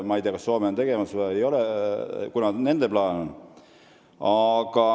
Ma ei tea, kas Soome on seda tegemas või kuidas nende plaanidega on.